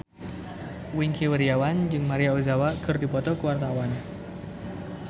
Wingky Wiryawan jeung Maria Ozawa keur dipoto ku wartawan